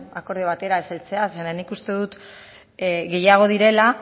akordio batera ez heltzea zeren nik uste dut gehiago direla